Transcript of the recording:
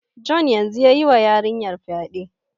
John yanzun ya yi wa yarinyar fyade.